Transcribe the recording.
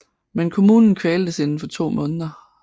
Men kommunen kvaltes inden for to måneder